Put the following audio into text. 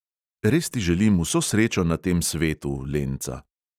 Res ti želim vso srečo na tem svetu, lenca.